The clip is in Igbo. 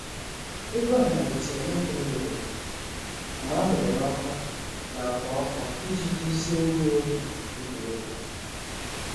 Egwu ahụ malitere n’oge mgbede, mgbe a muyere ọkụ na ákwà ọkụ iji duzie ndị na-egwu egwuregwu